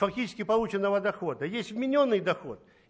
фактически полученного дохода есть вменённый доход